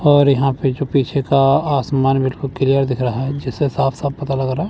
और यहां पे जो पीछे का आसमान मेरे को क्लियर दिख रहा है जिससे साफ साफ पता लग रहा--